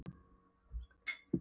Hann er nú afskaplega mikið úr